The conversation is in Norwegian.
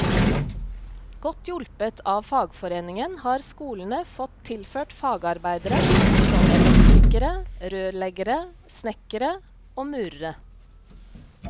Godt hjulpet av fagforeningen har skolene fått tilført fagarbeidere, som elektrikere, rørleggere, snekkere og murere.